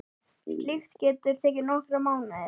Slíkt geti tekið nokkra mánuði.